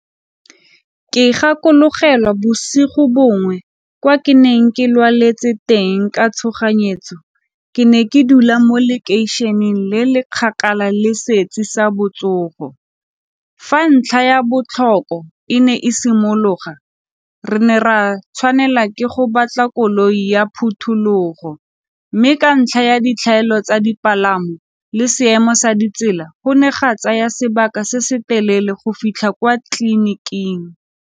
Ke gakologelwa bosigo bongwe kwa ke neng ke lwaletse teng ka tshoganyetso, ke ne ke dula mo lekeišeneng le le kgakala le sa botsogo. Fa ntlha ya botlhoko e ne e simologa, re ne ra tshwanela ke go batla koloi ya phuthulogo, mme ka ntlha ya ditlhaelo tsa dipalamo le seemo sa ditsela go ne ga tsaya sebaka se se telele go fitlha kwa tleliniking.